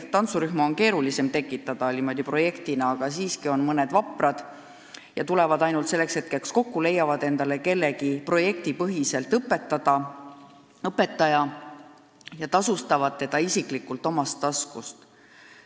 Tantsurühma on projektina keerulisem luua, aga siiski on mõned vaprad, kes tulevad ainult selleks ajaks kokku, leiavad endale õpetaja ja maksavad talle omast taskust.